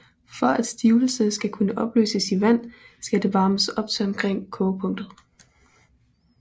For at stivelse skal kunne opløses i vand skal det varmes op til omkring kogepunktet